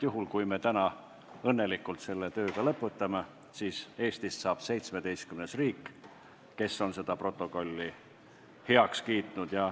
Kui meil õnnestub täna see töö lõpetada, siis Eestist saab 17. riik, kes on selle protokolli heaks kiitnud.